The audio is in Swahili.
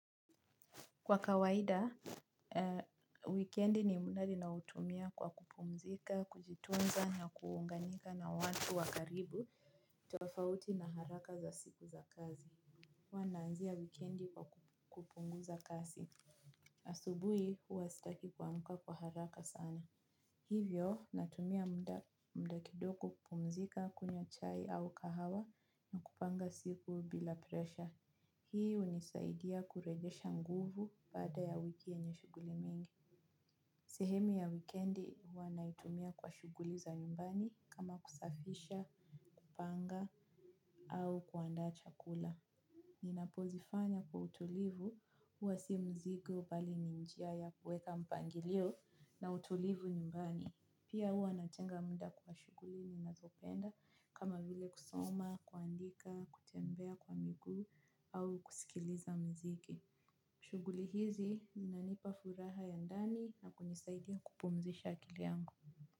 Kwa kawaida wikendi ni muda ninaoutumia kwa kupumzika, kujitunza na kuunganika na watu wa karibu. Tofauti na haraka za siku za kazi. Huwa nananzia wikendi kwa kupungu za kazi. Asubuhi huwa sitaki kuamka kwa haraka sana. Hivyo natumia mda kidogo kupumzika kunywa chai au kahawa na kupanga siku bila presha. Hii hunisaidia kurejesha nguvu baada ya wiki yenye shughuli mingi. Sehemu ya wikendi huwa naitumia kwa shughuli za nyumbani kama kusafisha, kupanga au kuandaa chakula. Ninapozifanya kwa utulivu huwa si mzigo bali ni njia ya kuweka mpangilio na utulivu nyumbani. Pia huwa natenga muda kwa shughuli ninazopenda kama vile kusoma, kuandika, kutembea kwa miguu au kusikiliza muziki. Shughuli hizi, inanipa furaha ya ndani na kunisaidia kupumzisha akili yangu.